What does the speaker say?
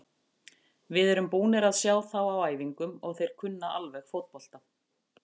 Við erum búnir að sjá þá á æfingum og þeir kunna alveg fótbolta.